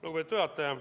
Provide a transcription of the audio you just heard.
Lugupeetud juhataja!